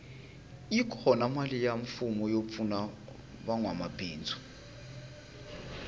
yi kona mali ya mfumo yo pfuna vanwa mabindzu